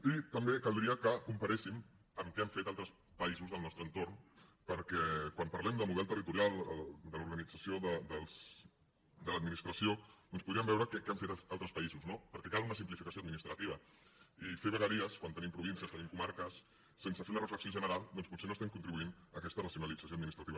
i també caldria que comparéssim amb què han fet altres països del nostre entorn perquè quan parlem de model territorial de l’organització de l’administració doncs podríem veure què han fet altres països no perquè cal una simplificació administrativa i fer vegueries quan tenim províncies tenim comarques sense fer una reflexió general doncs potser no estem contribuint a aquesta racionalització administrativa